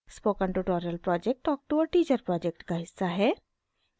spoken tutorial project talk to a teacher project का हिस्सा है